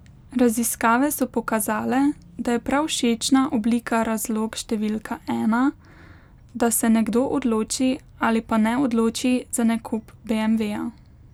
Raziskave so pokazale, da je prav všečna oblika razlog številka ena, da se nekdo odloči ali pa ne odloči za nakup beemveja.